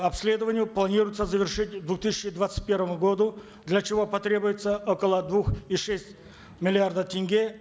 обследованию планируется завершить к две тысячи двадцать первому году для чего потребуется около двух и шесть миллиардов тенге